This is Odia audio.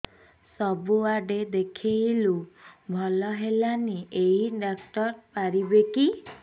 ସବୁଆଡେ ଦେଖେଇଲୁ ଭଲ ହେଲାନି ଏଇ ଡ଼ାକ୍ତର ପାରିବେ କି